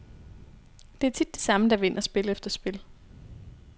Det er tit de samme, der vinder spil efter spil.